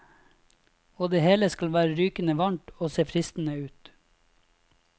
Og det hele skal være rykende varmt og se fristende ut.